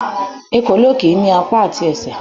Ekòló kì í ní apá àti ẹsẹ̀